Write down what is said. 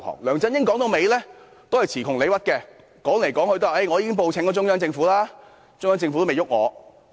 梁振英詞窮理屈，不斷表示已經報請中央政府，中央政府也沒有調查他。